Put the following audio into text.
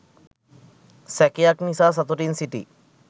සැකයක් නිසා සතුටින් සිටි